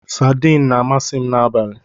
Sadiin na-amasị m n'abalị